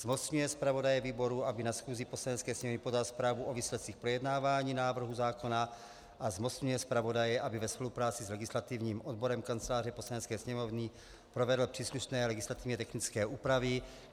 Zmocňuje zpravodaje výboru, aby na schůzi Poslanecké sněmovny podal zprávu o výsledcích projednávání návrhu zákona, a zmocňuje zpravodaje, aby ve spolupráci s legislativním odborem Kanceláře Poslanecké sněmovny provedl příslušné legislativně technické úpravy.